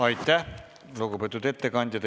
Aitäh, lugupeetud ettekandja!